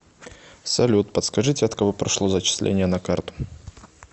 салют подскажите от кого прошло зачисление на карту